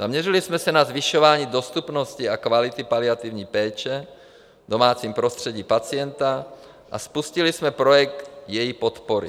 Zaměřili jsme se na zvyšování dostupnosti a kvality paliativní péče v domácím prostředí pacienta a spustili jsme projekt její podpory.